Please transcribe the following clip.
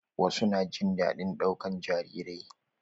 Wasu na jin daɗin ɗaukan jarirai.